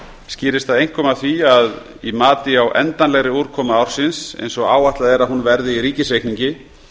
skýrist það einkum af því að í mati á endanlegri útkomu ársins eins og áætlað er að hún verði í ríkisreikningi